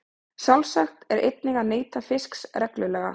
Sjálfsagt er einnig að neyta fisks reglulega.